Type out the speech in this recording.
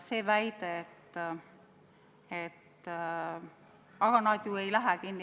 Väidetakse, et nad ju ei lähe kinni.